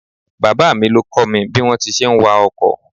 Bàbá mi ló kọ́ mi bí wọn ti ń ṣe ń wa ọkọ̀.